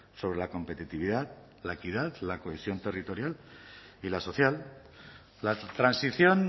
sobre la competitividad la equidad la cohesión territorial y la social la transición